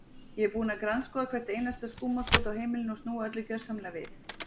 Ég er búin að grandskoða hvert einasta skúmaskot á heimilinu og snúa öllu gjörsamlega við.